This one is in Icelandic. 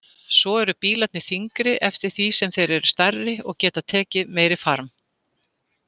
Svo eru bílarnir þyngri eftir því sem þeir eru stærri og geta tekið meiri farm.